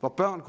hvor børn